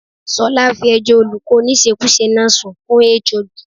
Ṣọlá fi ẹjọ́ olùkọ́ oníṣekúṣe náà sun fún HOD.